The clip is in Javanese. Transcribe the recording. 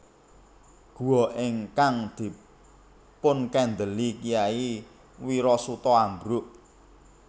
Guwa ingkang dipunkèndeli Kyai Wirasuta ambruk